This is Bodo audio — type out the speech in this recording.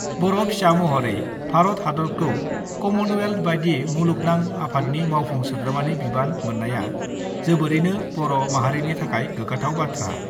बर' फिसा महरै भारत हादतखौ कमनवेल्थ बादि मुलुगनां आफादनि मावफुं सोद्रोमानि बिबान मोन्नाया जोबोरैनो बर' माहारिनि थाखाय गोग्गाथाव बाथ्रा।